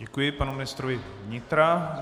Děkuji panu ministrovi vnitra.